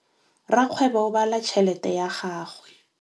Rakgwêbô o bala tšheletê ya gagwe.